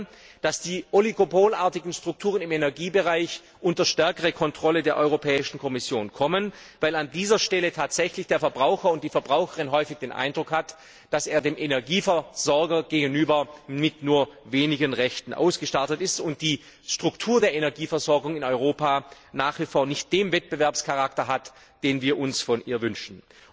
Wir wollen, dass die oligopolartigen Strukturen im Energiebereich unter stärkere Kontrolle der Europäischen Kommission kommen, weil an dieser Stelle tatsächlich die Verbraucherin und der Verbraucher häufig den Eindruck hat, dass er dem Energieversorger gegenüber mit nur wenigen Rechten ausgestattet ist und die Struktur der Energieversorgung in Europa nach wie vor nicht den Wettbewerbscharakter hat, den wir uns von ihr wünschen.